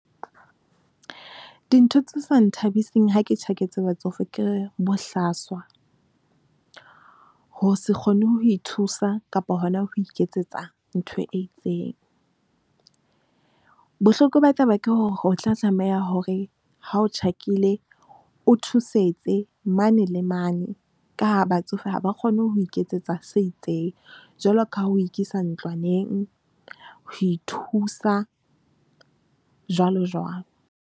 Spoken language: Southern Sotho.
Dintho tse sa nthabiseng ha ke tjhaketse batsofe ke bohlaswa, ho se kgone ho ithusa kapa hona ho iketsetsa ntho e itseng. Bohloko ba taba ke hore o tla tlameha hore ha o tjhakile, o thusetse mane le mane ka haa batsofe ha ba kgone ho iketsetsa se itseng jwalo ka ho ikisa ntlwaneng, ho ithusa jwalo jwalo.